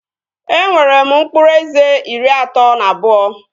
E nwere m mkpụrụ eze iri atọ na abụọ